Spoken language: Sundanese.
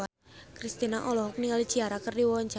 Kristina olohok ningali Ciara keur diwawancara